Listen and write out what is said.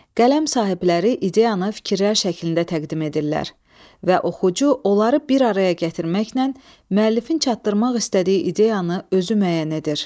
Qələm sahibləri ideyanı fikirlər şəklində təqdim edirlər və oxucu onları bir araya gətirməklə müəllifin çatdırmaq istədiyi ideyanı özü müəyyən edir.